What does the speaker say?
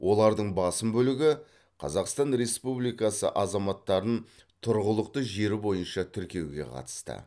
олардың басым бөлігі қазақстан республикасы азаматтарын тұрғылықты жері бойынша тіркеуге қатысты